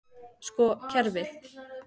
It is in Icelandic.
Sko kerfið.